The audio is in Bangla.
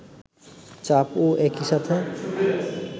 চাপ ও একি সাথে